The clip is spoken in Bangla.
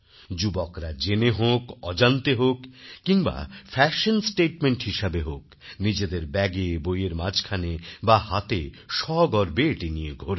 যুবকরা জেনে হোক অজান্তে হোক কিংবা ফ্যাশন statementহিসেবে হোক নিজেদের ব্যাগে বইয়ের মাঝখানে বা হাতে সগর্বে এটি নিয়ে ঘোরে